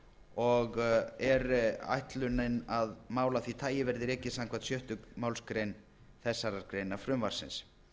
og er ætlunin að mál af því tagi verði rekið samkvæmt sjöttu málsgrein þessarar greinar frumvarpsins